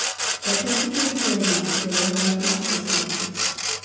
Jatend piny kenya okelo hola mar hustla fund